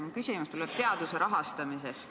Minu küsimus on teaduse rahastamise kohta.